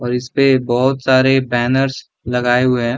और इसपे बहुत सारे बैनर्स लगाए हुए हैं।